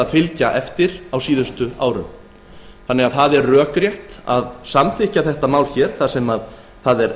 að fylgja eftir á síðustu árum það er því rökrétt að samþykkja málið hér þar sem það er